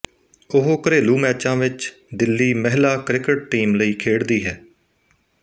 ਉਹ ਘਰੇਲੂ ਮੈਚਾਂ ਵਿੱਚ ਦਿੱਲੀ ਮਹਿਲਾ ਕ੍ਰਿਕਟ ਟੀਮ ਲਈ ਖੇਡਦੀ ਹੈ